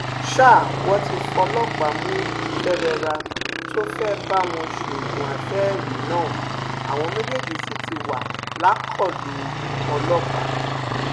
ṣá wọn ti fọlọpàá mú fèrèrà tó fẹẹ bá wọn sóògùn àfẹẹrí náà àwọn méjèèjì sì ti wà lákọlò ọlọpàá